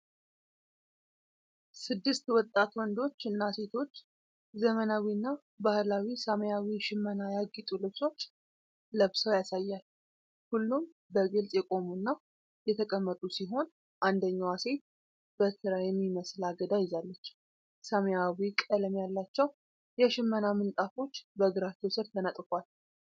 ስድስት ወጣት ወንዶችና ሴቶች ዘመናዊ እና በባህላዊ ሰማያዊ ሽመና ያጌጡ ልብሶችን ለብሰው ያሳያል። ሁሉም በግልጽ የቆሙና የተቀመጡ ሲሆን፤ አንደኛዋ ሴት በትረ የሚመስል አገዳ ይዛለች። ሰማያዊ ቀለም ያላቸው የሽመና ምንጣፎች በእግራቸው ስር ተነጥፈዋል።